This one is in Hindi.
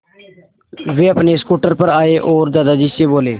वे अपने स्कूटर पर आए और दादाजी से बोले